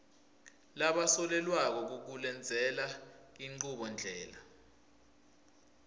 labasolelwako kukulendzela inchubondlela